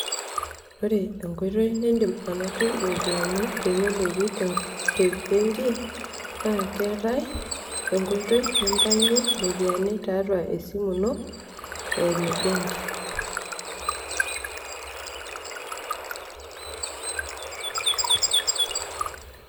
ore enkoitoi nidim anotie iropiyiani te benki, naa keetae enkoitoi ninayunye iropiyiani tiatua esimu ino eimu benki.